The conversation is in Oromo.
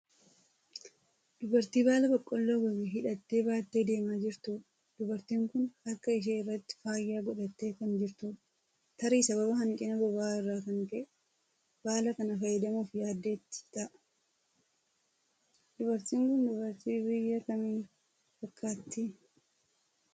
Dubartii baala Boqqolloo gogee hidhattee baattee deemaa jirtuudha. Dubartiin kun harka ishee irratti faaya godhattee kan jirtudha. Tarii sababa hanqina boba'aa irraan kan ka'e baala kana fayyadamuuf yaaddeeti ta'a. Dubartiin kun dubartii biyya kamii fakkaatti?